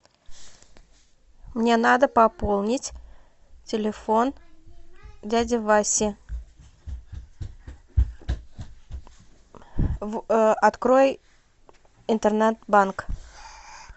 мне надо пополнить телефон дяди васи открой интернет банк